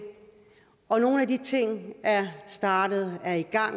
nogle af de ting er startet og er i gang